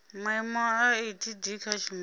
maimo a etd kha tshumelo